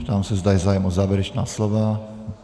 Ptám se, zda je zájem o závěrečná slova.